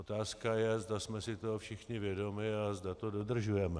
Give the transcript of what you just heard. Otázka je, zda jsme si toho všichni vědomi a zda to dodržujeme.